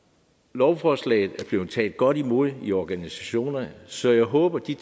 lovforslaget er blevet taget godt imod i organisationerne så jeg håber de